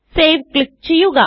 save click ചെയ്യുക